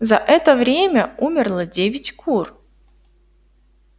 за это время умерло девять кур